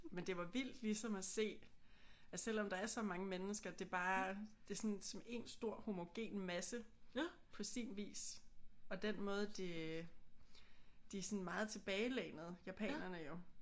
Men det var vildt ligesom at se at selvom der er så mange mennesker det bare det er som en stor homogen masse på sin vis. Og den måde de de er sådan meget tilbagelænede japanerne jo